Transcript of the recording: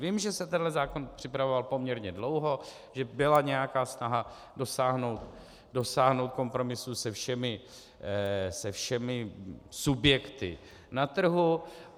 Vím, že se tenhle zákon připravoval poměrně dlouho, že byla nějaká snaha dosáhnout kompromisu se všemi subjekty na trhu.